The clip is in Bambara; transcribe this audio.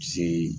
Se